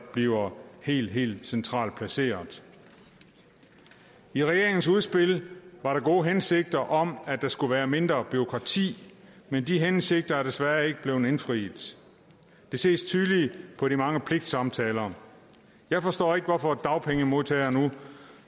bliver helt helt centralt placeret i regeringens udspil var der gode hensigter om at der skulle være mindre bureaukrati men de hensigter er desværre ikke blevet indfriet det ses tydeligt på de mange pligtsamtaler jeg forstår ikke hvorfor dagpengemodtagere nu